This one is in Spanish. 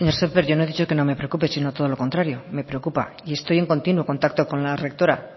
señor sémper yo no he dicho que no me preocupe sino todo lo contrario me preocupa y estoy en continuo contacto con la rectora